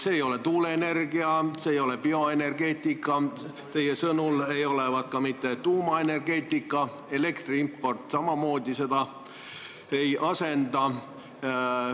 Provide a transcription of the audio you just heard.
See ei ole tuuleenergia, see ei ole bioenergeetika, teie sõnul ei olevat selleks ka mitte tuumaenergeetika, elektri import samamoodi seda ei asenda.